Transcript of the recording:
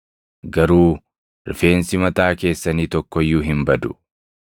Garuu rifeensi mataa keessanii tokko iyyuu hin badu.